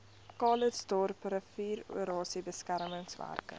calitzdorp riviererosie beskermingswerke